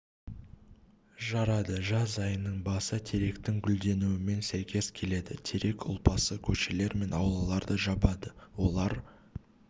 жарады жаз айының басы теректің гүденуімен сәйкес келеді терек ұлпасы көшелер мен аулаларды жабады олар